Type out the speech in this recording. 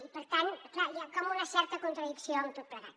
i per tant clar hi ha com una certa contradicció en tot plegat